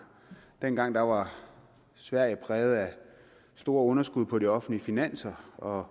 dengang var var sverige præget af store underskud på de offentlige finanser og